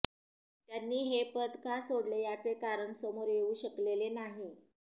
त्यांनी हे पद का सोडले याचे कारण समोर येऊ शकलेले नाही